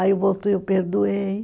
Aí voltou e eu perdoei.